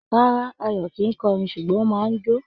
Rárá, Ayọ̀ kìí kọrin, ṣùgbọ́ ó máa ń jo